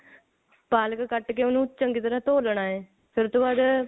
ਪਾਲਕ ਕੱਟ ਕੇ ਉਹਨੂੰ ਚੰਗੀ ਤਰ੍ਹਾਂ ਧੋ ਲੈਣਾ ਐ ਫੇਰ ਉਹ ਤੋਂ ਬਾਅਦ